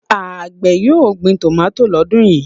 Àgbẹ̀ yóò gbin tòmátì lọ́dún yìí?